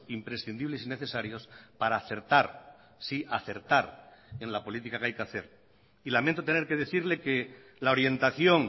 imprescindibles y necesarios para acertar sí acertar en la política que hay que hacer y lamento tener que decirle que la orientación